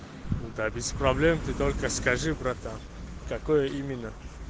да без проблем ты только скажи братан какое именно